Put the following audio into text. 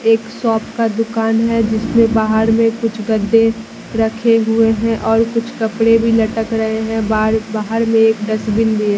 एक शॉप का दुकान है जिसमें बाहर में कुछ गद्दे रखे हुए हैं और कुछ कपड़े भी लटक रहे हैं बार बाहर में एक डस्टबिन भी --